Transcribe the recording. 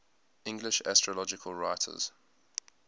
english astrological writers